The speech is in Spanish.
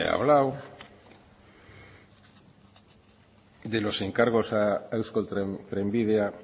hablado de los encargos a eusko trenbidea